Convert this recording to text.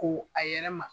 Ko a yɛrɛ ma